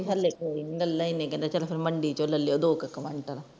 ਹਾਲੇ ਕੋਈ ਨਹੀਂ ਗਲਾਂ ਹੀ ਨੇ ਚਲ ਫੇਰ ਮੰਡੀ ਚੋਂ ਲੈ ਲਓ ਦੋਕ ਕੁਇੰਟਲ